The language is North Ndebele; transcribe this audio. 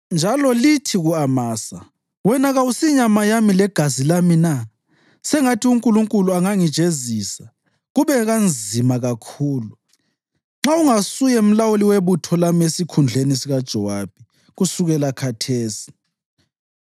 Njalo lithi ku-Amasa, ‘Wena kawusinyama yami legazi lami na? Sengathi uNkulunkulu angangijezisa, kube kanzima kakhulu, nxa ungasuye mlawuli webutho lami esikhundleni sikaJowabi, kusukela khathesi.’ ”